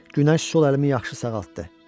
Günəş sol əlimi yaxşı sağaltdı.